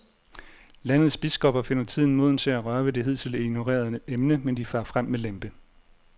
Landets biskopper finder tiden moden til at røre ved det hidtil ignorerede emne, men de farer frem med lempe.